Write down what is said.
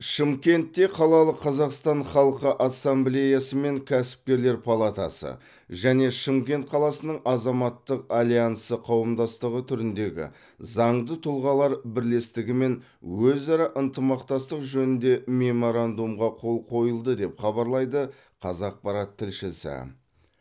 шымкентте қалалық қазақстан халқы ассамблеясы мен кәсіпкерлер палатасы және шымкент қаласының азаматтық альянсы қауымдастығы түріндегі заңды тұлғалар бірлестігімен өзара ынтымақтастық жөнінде меморандумға қол қойылды деп хабарлайды қазақпарат тілшісі